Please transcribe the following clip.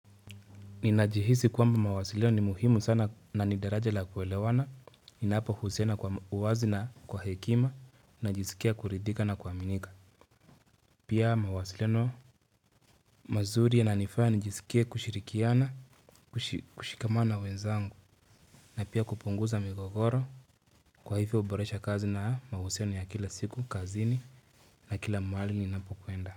Ninajihisi kwamba mawasiliano ni muhimu sana na ni daraja la kuelewana Ninapohusiana kwa uwazi na kwa hekima Najisikia kuridhika na kuaminika Pia mawasiliano mazuri yananifanya nijisikie kushirikiana, kushikamana na wenzangu na pia kupunguza migogoro Kwa hivyo huboresha kazi na mahusiano ya kila siku kazini. Na kila mahali ninapokwenda.